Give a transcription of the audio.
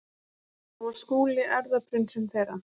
Þá var Skúli erfðaprinsinn þeirra.